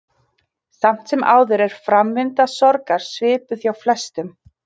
Samt sem áður er framvinda sorgar svipuð hjá flestum.